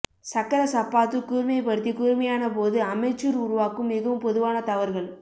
சக்கர சப்பாத்து கூர்மைப்படுத்தி கூர்மையான போது அமெச்சூர் உருவாக்கும் மிகவும் பொதுவான தவறுகள்